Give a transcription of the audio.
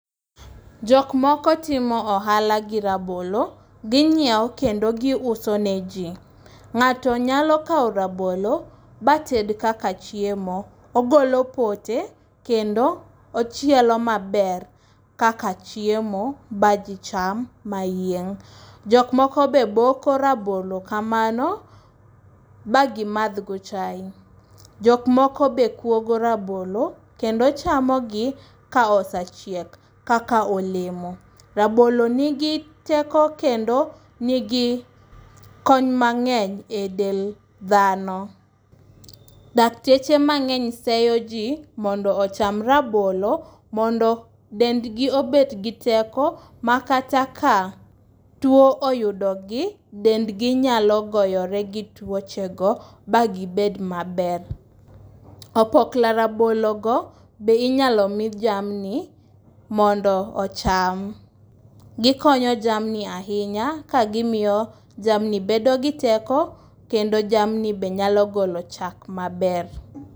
Jok moko timo ohala gi rabolo, gi nyiewo kendo giuso neji. Ng'ato nyalo kawo rabolo ma ted kaka chiemo. Ogolo pote kendo ochielo maber kaka chiemo maji cham mayieng'. Jok moko be boko rabolo kamano, ma gimadhgo chae, Jok moko be kuogo rabolo kendo chamogi kaka olemo. Rabolo nigi teko kendo konyo mang'eny e dend dhano. Dakteche mang'eny sero ji mondo ocham rabolo mondo dendgi obed gi teko makata ka tuo oyudogi, dendgi nyalo gore gituochego ma gibed maber. Opoko rabologo be inyalo mi jamni mondo ocham. Gikonyo jamni ahinya kagimiyo jamni bedo gi teko kendo jamni be nyalo golo chak maber.